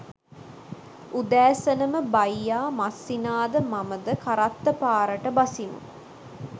උදැසනම බයියා මස්සිනා ද මම ද කරත්ත පාරට බසිමු